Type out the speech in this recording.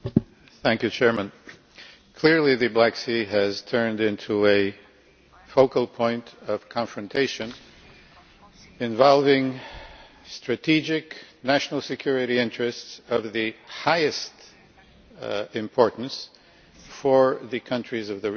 Mr President, clearly the Black Sea has turned into a focal point of confrontation, involving strategic national security interests of the highest importance for the countries of the region.